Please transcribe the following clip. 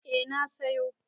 Eh na sayo.